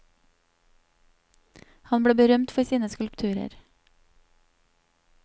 Han ble berømt for sine skulpturer.